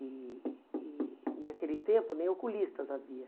E e naquele tempo nem oculistas havia.